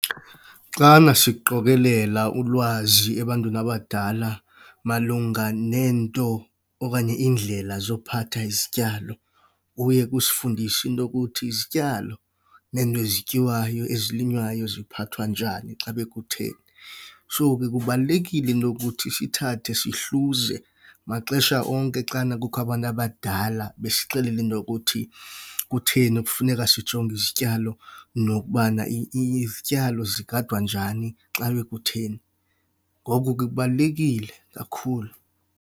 Xana siqokelela ulwazi ebantwini abadala malunga neento okanye iindlela zokuphatha izityalo, uye kusifundise into yokuthi izityalo neento ezityiwayo ezilinywayo ziphathwa njani xa bekutheni. So, ke, kubalulekile into ukuthi sithathe sezihluze maxesha onke xana kukho abantu abadala besixelela into yokuthi kutheni kufuneka sijonge izityalo nokubana izityalo zigadwa njani xa bekutheni. Ngoko ke, kubalulekile kakhulu.